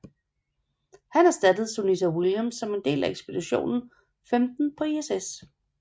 Han erstattede Sunita Williams som del af ekspedition 15 på ISS